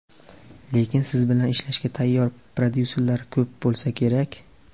Lekin siz bilan ishlashga tayyor prodyuserlar ko‘p bo‘lsa kerak?